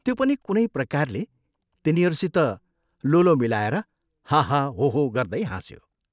त्यो पनि कुनै प्रकारले तिनीहरूसित लो लो मिलाएर, हा, हा, हो, हो गर्दै हाँस्यो।